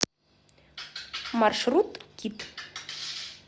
маршрут кит